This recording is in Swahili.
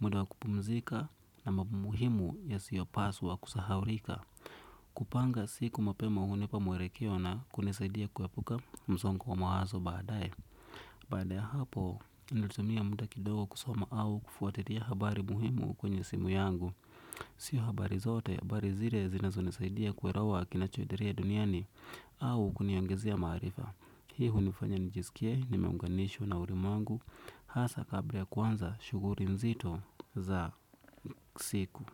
muda wa kupumzika na mambo muhimu yasiyopaswa kusahaulika. Kupanga siku mapema hunipa mwelekeo na kunisaidia kuepuka msongo wa mawazo baadaye. Baada ya hapo, nilitumia muda kidogo kusoma au kufuatilia habari muhimu kwenye simu yangu. Sio habari zote, habari zile zinazonisaidia kuelewa kinachoendelea duniani au kuniongezea maarifa. Hii hunifanya nijisikie nimeunganishwa na ulimwengu, hasa kabla ya kuanza, shughuli nzito za siku.